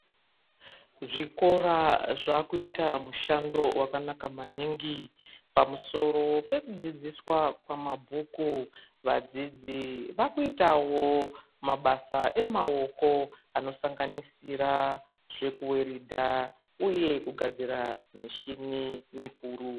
Zvikora zvakuita mushando wakanaka maningi pamusoro pekudzIdziswa kwamabhuku vadzidzi vakuitawo mabasa emaoko anosanganisira zvekuweridha uye kugadzira mushini mikuru.